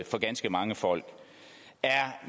for ganske mange folk er